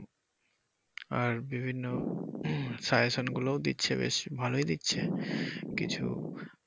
আর বিভিন্ন suggestion গুলোও দিচ্ছে বেশ ভালোই দিচ্ছে কিছু।